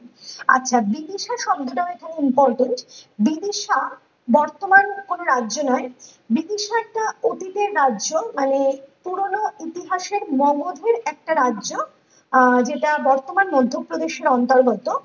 আচ্ছা বিবিসার শব্দটায় ধরুন বিপিশা বর্তমান কোনো রাজ্য নয় বিপিশা একটা অতীতের রাজ্য মানে পুরোনো ইতিহাসের মর্মধিক একটা রাজ্য আহ যেটা মাধ্যপ্রদেশের অন্তর্গত